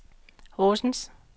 Horsens